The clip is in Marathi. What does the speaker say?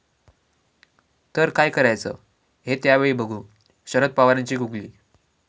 ...तर काय करायचं हे त्यावेळी बघू, शरद पवारांची गुगली